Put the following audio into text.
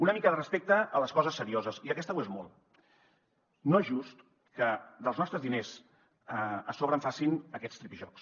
una mica de respecte a les coses serioses i aquesta ho és molt no és just que dels nostres diners a sobre en facin aquests tripijocs